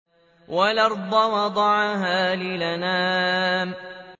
وَالْأَرْضَ وَضَعَهَا لِلْأَنَامِ